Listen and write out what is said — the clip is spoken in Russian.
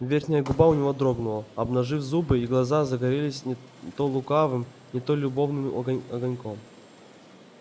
верхняя губа у него дрогнула обнажив зубы и глаза загорелись не то лукавым не то любовным огоньком